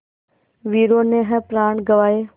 वीरों ने है प्राण गँवाए